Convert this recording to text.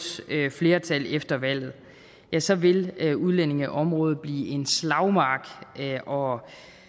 flertal efter valget ja så vil udlændingeområdet blive en slagmark og